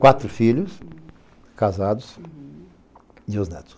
Quatro filhos casados e dois netos.